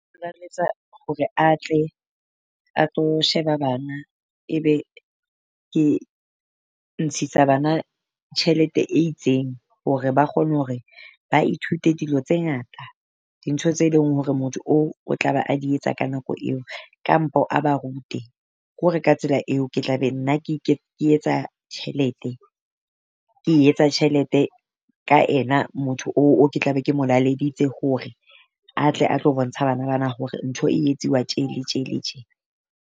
Hore atle a tlo sheba bana, e be ke ntshisa bana tjhelete e itseng hore ba kgone hore ba ithute dilo tse ngata. Dintho tse leng hore motho oo o tla be a di etsa ka nako eo, kampo a ba rute ko re ka tsela eo ke tla be nna ke etsa tjhelete ke etsa tjhelete ka ena motho o o ke tla be ke mo laleditse hore atle a tlo bontsha bana bana hore ntho e etsuwa tje le tje le tje.